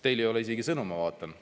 Teil ei ole isegi sõnu, ma vaatan.